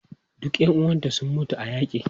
Duka ƴan uwanta sun mutu a yaƙi.